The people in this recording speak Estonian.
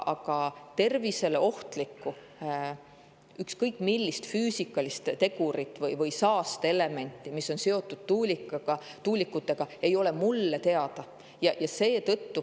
Aga tervisele ohtlikku ükskõik millist füüsikalist tegurit või saasteelementi, mis on seotud tuulikutega, ei ole mulle teada.